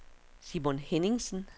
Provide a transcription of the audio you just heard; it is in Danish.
Simon Henningsen